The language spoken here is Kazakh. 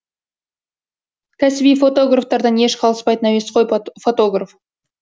кәсіби фотографтардан еш қалыспайтын әуесқой фотограф